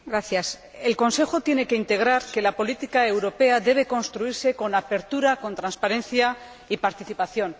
Señor Presidente, el Consejo tiene que integrar que la política europea debe construirse con apertura, transparencia y participación.